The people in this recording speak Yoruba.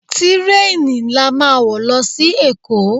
Tírèènì la máa wo lọ sí èkó.